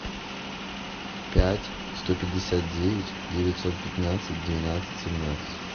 пять сто пятьдесят девять девятьсот пятнадцать двенадцать семнадцать